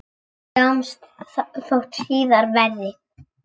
Sjáumst þótt síðar verði.